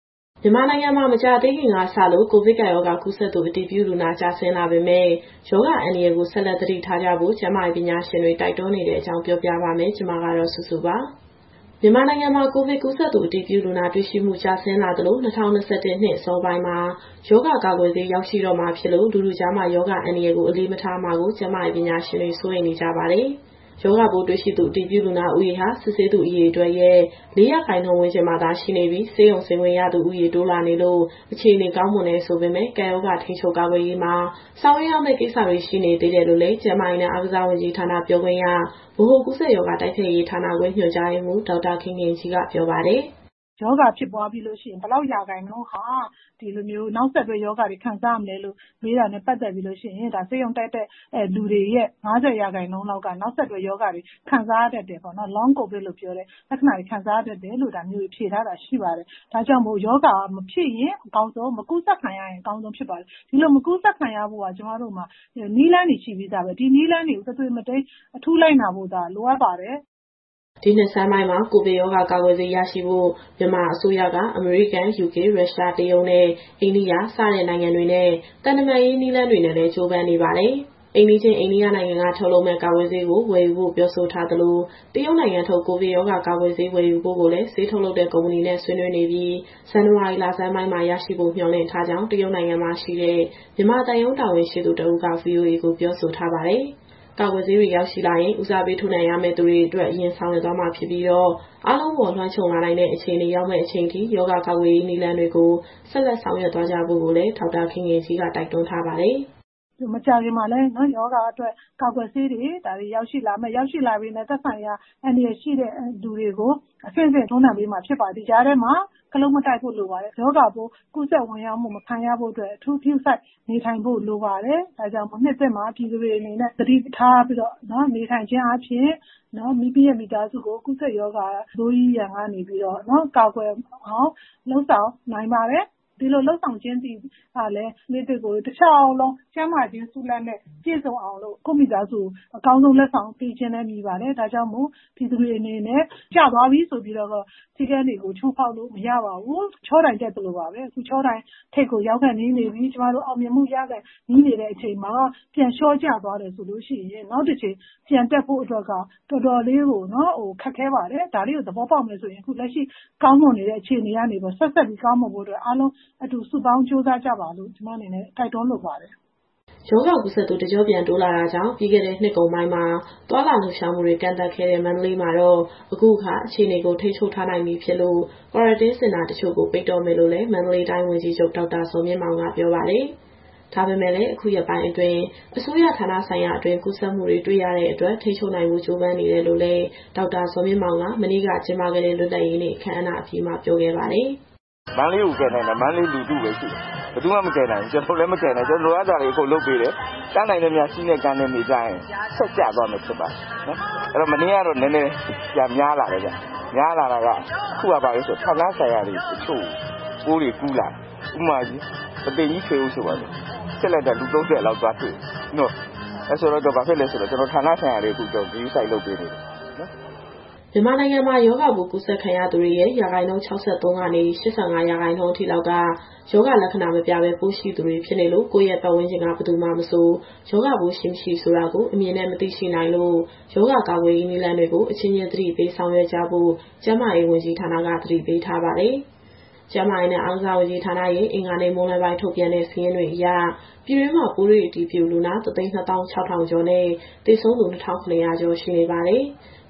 မြန်မာနိုင်ငံမှာ မကြာသေးခင်ကစလို့ ကိုဗစ်ကပ်ရောဂါ ကူးစက်သူ အတည်ပြုလူနာ ကျဆင်းလာပေမဲ့၊ ရောဂါအန္တရာယ်ကို ဆက်လက် သတိပြုကြဖို့ ကျန်းမာရေး ပညာရှင်တွေ တိုက်တွန်းနေတဲ့အကြောင်း ဗွီအိုအေမြန်မာပိုင်း သတင်းထောက်မစုစုက တင်ဆက်ပေးမှာပါ။ မြန်မာနိုင်ငံမှာ ကိုဗစ်ကူးစက်သူအတည်ပြုလူနာ တွေ့ရှိမှု ကျဆင်းလာသလို ၂၀၂၁ နှစ်အစောပိုင်းမှာ ရောဂါကာကွယ်ဆေး ရောက်ရှိလာတော့မှာမို့ လူထုကြားမှာ ရောဂါအန္တရာယ်ကို အလေးမထားမှာကို ကျန်းမာရေးပညာရှင်တွေ စိုးရိမ်နေကြပါတယ်။ ရောဂါပိုးတွေ့ရှိသူ အတည်ပြုလူနာဦးရေဟာ စစ်ဆေးသူအရေအတွက်ရဲ့ ၄ ရာခိုင်နှုန်းဝန်းကျင်မှာသာ ရှိနေပြီး၊ ဆေးရုံဆင်းခွင့်ရသူ တိုးလာနေလို့ အခြေအနေကောင်းမွန်တယ်ဆိုပေမယ့် ကပ်ရောဂါထိန်းချုပ်၊ ကာကွယ်ရေးမှာ ဆောင်ရွက်ရမယ့်ကိစ္စတွေ ရှိနေသေးတယ်လို့လည်း ကျန်းမာရေးနဲ့အားကစားဝန်ကြီးဌာနက ပြောခွင့်ရ၊ ဗဟိုကူးစက်ရောဂါတိုက်ဖျက်ရေးဌာနခွဲ ညွှန်ကြားရေးမှူး ဒေါက်တာခင်ခင်ကြီးက ပြောပါတယ်။ "ရောဂါဖြစ်ပွားပြီးလို့ရှိရင် ဘယ်လောက်ရာခိုင်နှုန်းဟာ နောက်ဆက်တွဲ ရောဂါလက္ခဏာတွေခံစားရမလဲလို့ မေးတာနဲ့ပတ်သက်ပြီးတော့ ဆေးရုံတက်တဲ့လူတွေရဲ့ ၅၀ ရာခိုင်နှုန်းလောက်က နောက်ဆက်တွဲရောဂါတွေ ခံစားရတတ်တယ်ပေါ့နော်။ Long COVID လို့ပြောတဲ့ လက္ခဏာတွေ ခံစားရတတ်တယ်လို့ (ကမ္ဘာ့ကျန်းမာရေးအဖွဲ့က) ဖြေထားတာရှိပါတယ်။ ဒါကြောင့်မို့ ရောဂါမဖြစ်ရင်အကောင်းဆုံး၊ မကူးစက်ခံရရင် အကောင်းဆုံးဖြစ်ပါတယ်။ ဒီလိုမကူးစက်ခံရဖို့က ကျမတို့မှာ နည်းလမ်းတွေရှိပြီးသားပဲ။ ဒီနည်းလမ်းတွေကို တသွေမတိမ်းအထူးလိုက်နာဖို့သာ လိုအပ်ပါတယ်။" ဒီနှစ်ဆန်းပိုင်းမှာ ကိုဗစ်ရောဂါကာကွယ်ဆေး ရရှိဖို့ မြန်မာအစိုးရက အမေရိကန်၊ ယူကေ၊ ရုရှား၊ တရုတ်နဲ့ အိန္ဒိယ စတဲ့နိုင်ငံတွေနဲ့ သံတမန်ရေးနည်းလမ်းတွေနဲ့လည်း ကြိုးပမ်းနေပါတယ်။ အိမ်နီးချင်း အိန္ဒိယနိုင်ငံက ထုတ်လုပ်မယ့် ကာကွယ်ဆေးကို ဝယ်ယူဖို့ ပြောဆိုထားသလို၊ တရုတ်နိုင်ငံထုတ် ကိုဗစ်ကာကွယ်ဆေး ဝယ်ယူဖို့ကိုလည်း ဆေးထုတ်လုပ်တဲ့ ကုမ္ပဏီနဲ့ ဆွေးနွေးနေပြီး ဇန်နဝါရီလဆန်းပိုင်းမှာ ရရှိဖို့မျှော်လင့်ထားကြောင်း တရုတ်နိုင်ငံမှာရှိတဲ့ မြန်မာသံရုံးတာဝန်ရှိသူ တဦးက VOA ကိုပြောဆိုထားပါတယ်။ ကာကွယ်ဆေးတွေရောက်ရှိလာရင် ဦးစားပေး ထိုးနှံရမယ့်သူတွေအတွက် အရင်ဆောင်ရွက်သွားမှာဖြစ်ပြီးတော့ အားလုံးအပေါ်လွှမ်းခြုံလာနိုင်တဲ့ အခြေအနေရောက်မယ့်အချိန်ထိ ရောဂါကာကွယ်ရေးနည်းလမ်းတွေကို ဆက်လက် ဆောင်ရွက်သွားကြဖို့ကိုလည်း ဒေါက်တာခင်ခင်ကြီးက တိုက်တွန်းထားပါတယ်။ "မကြာခင်မှာလည်း ရောဂါအတွက်ကာကွယ်ဆေးတွေ ရောက်ရှိလာပြီးရင် သက်ဆိုင်ရာအန္တရာယ်ရှိတဲ့သူတွေကို အဆင့်ဆင့် ထိုးနှံပေးမှာဖြစ်ပါတယ်။ ဒီကြားထဲမှာ ခလုတ်မတိုက်ဖို့လိုပါတယ်။ ရောဂါပိုးကူးစက်ခံရမှု မဝင်ရောက်ဖို့အတွက် အထူးဂရုစိုက် နေထိုင်ဖို့လိုပါတယ်။ ဒါကြောင့်မို့ နှစ်သစ်မှာပြည်သူတွေအနေနဲ့ သတိထားပြီးတော့နေထိုင်ခြင်းအားဖြင့် မိသားစုကိုရောဂါဆိုးကြီး ကူးစက်မှုရန်ကနေ ကာကွယ်နိုင်ပါတယ်။ ဒီလိုလုပ်ဆောင်ခြင်းကလည်း နှစ်သစ်ကို တလျှောက်လုံး ကျန်းမာခြင်းဆုလာဘ်နဲ့ ပြည့်စုံအောင်လို့ ကိုယ့်မိသားစုကို အကောင်းဆုံးလက်ဆောင် ပေးခြင်းလည်းမည်ပါတယ်။ ဒါကြောင့်မို့ ရောဂါကူးစက်မှုကျသွားပြီဆိုပြီးတော့ စည်းကမ်းတွေ ချိုးဖောက်လို့မရပါဘူး။ ချောတိုင်တက်သလိုပါပဲ အခုချောတိုင်ထိပ်ကို ရောက်ခါနီးနေပါပြီ။ ကျမတို့အောင်မြင်မှုရခါနီးနေချိန်မှာ ပြန်လျှောကျသွားတယ်ဆိုရင် နောက်တကြိမ်ပြန်တက်ဖို့အတွက်က တော်တော်လေးကို ခက်ခဲပါတယ်။ ဒါလေးကို သဘောပေါက်မယ်ဆိုရင် အခုကောင်းမွန်နေတဲ့ အခြေအနေကနေပြီးတော့ ဆက်ပြီးကောင်းမွန်ဖို့အတွက် အားလုံးအတူစုပေါင်းကြိုးစားကြပါလို့ ကျမအနေနဲ့ တိုက်တွန်းလိုပါတယ်။" ရောဂါကူးစက်သူ တကျော့ပြန်တိုးလာတာကြောင့် ပြီးခဲ့တဲ့နှစ်ကုန်ပိုင်းမှာ သွားလာလှုပ်ရှားမှုတွေ ကန့်သတ်ခဲ့တဲ့ မန္တလေးမှာတော့ အခုအခါ အခြေအနေကို ထိန်းချုပ်ထားနိုင်ပြီဖြစ်လို့ Quarantine စင်တာတချို့ကို ပိတ်တော့မယ်လို့လည်း မန္တလေးတိုင်းဝန်ကြီးချုပ် ဒေါက်တာဇော်မြင့်မောင်က ပြောပါတယ်။ ဒါပေမဲ့လည်း အခုရက်ပိုင်းအတွင်း အစိုးရဌာနဆိုင်ရာအတွင်း ကူးစက်မှုတွေ တွေ့ရတဲ့အတွက် ထိန်းချုပ်နိုင်ဖို့ ကြိုးပမ်းနေတယ်လို့လည်း ဒေါက်တာဇော်မြင့်မောင်က မနေ့ကကျင်းပခဲ့တဲ့ လွတ်လပ်ရေးနေ့အခမ်းအနားပြီးမှာ ပြောခဲ့ပါတယ်။ "မန္တလေးကိုကယ်နိုင်တာ မန္တလေးလူထုပဲ ရှိတယ်။ ဘယ်သူမှမကယ်နိုင်ဘူး။ ကျနော်တို့လည်း မကယ်နိုင်ဘူး။ ကျနော်တို့ လိုအပ်တာတွေ အကုန်လုပ်ပေးတယ်။ တတ်နိုင်သမျှ စည်းနဲ့ကမ်းနဲ့နေကြရင် လျှော့ကျသွားမယ်ထင်ပါတယ်။ မနေ့ကတော့ နည်းနည်းပြန်များလာတယ်ဗျ။ များလာတာက အခုကဘာဖြစ်လို့လဲဆိုတော့ ဌာနဆိုင်ရာတချို့ကို ပိုးတွေကူးလာတယ်။ ဥပမာ ပုသိမ်ကြီးထွေအုပ်ဆိုပါစို့၊ စစ်လိုက်တာ လူ ၃၀ လောက်သွားတွေ့တယ်။ အဲဒီလိုဆိုတော့ ကျနော်တို့အခု ဌာနဆိုင်ရာတွေကို ဂရုစိုက်လုပ်ပေးနေပါတယ်။" မြန်မာနိုင်ငံမှာ ရောဂါပိုးကူးစက်ခံရသူတွေရဲ့ ရာခိုင်နှုန်း ၆၃ ကနေ ၈၅ အထိလောက်က ရောဂါလက္ခဏာမပြပဲ ပိုးရှိသူတွေဖြစ်နေလို့ ကိုယ့်ရဲ့ပတ်ဝန်းကျင်က ဘယ်သူမှာမဆို ရောဂါရှိ မရှိဆိုတာကို အမြင်နဲ့မသိရှိနိုင်လို့ ရောဂါကာကွယ်ရေးနည်းလမ်းတွေကို အချင်းချင်းသတိပေးဆောင်ရွက်ကြဖို့ ကျန်းမာရေးဝန်ကြီးဌာနက သတိပေးထားပါတယ်။ ကျန်းမာရေးနဲ့အားကစားဝန်ကြီးဌာနရဲ့ အင်္ဂါနေ့မွန်းလွဲပိုင်းထုတ်ပြန်တဲ့ စာရင်းအရ ပြည်တွင်းမှာပိုးတွေ့အတည်ပြုလူနာ ၁၂၆,၀၀၀ ကျော်နဲ့ သေဆုံးသူ ၂,၇၀၀ ကျော်ရှိနေပါတယ်။